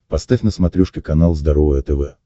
поставь на смотрешке канал здоровое тв